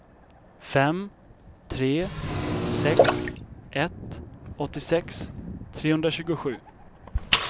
fem tre sex ett åttiosex trehundratjugosju